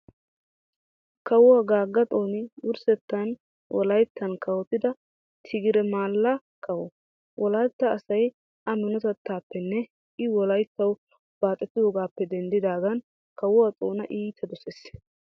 Kawo Gaagga Xooni wurssettan Wolayttan kawotida Tigire maallaa kawo. Wolaytta asay a minotettaappenne i Wolayttawu baaxettidoogaappe denddaagan Kawo Xoona iita dosees